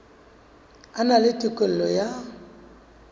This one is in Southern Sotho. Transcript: a na le tokelo ya